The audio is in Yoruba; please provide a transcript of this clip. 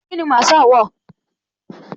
Kíni Masaa wọ̀?